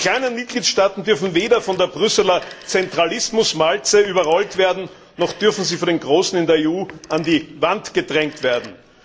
Die kleinen Mitgliedstaaten dürfen weder von der Brüsseler Zentralismuswalze überrollt werden, noch dürfen sie von den Großen in der EU an die Wand gedrängt werden.